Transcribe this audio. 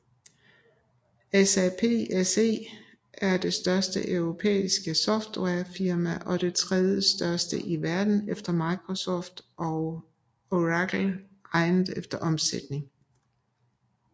SAP SE er det største europæiske softwarefirma og det tredjestørste i verden efter Microsoft og Oracle regnet efter omsætning